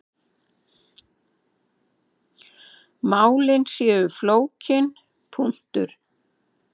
Málin séu flókin.